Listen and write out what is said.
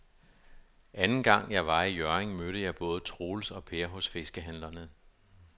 Anden gang jeg var i Hjørring, mødte jeg både Troels og Per hos fiskehandlerne.